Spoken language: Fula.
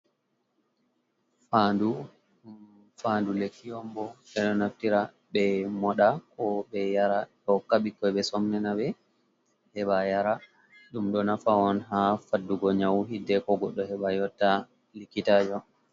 Faandu, faandu lekki ombo. Ɓe ɗo naftira ɓe moɗa, ko ɓe yara hokka ɓikkoi ɓe somnina ɓe heɓa yara. Ɗum ɗo nafa on haa faddugo nyau, hidde ko goɗɗo heɓa yotta likkitaajo.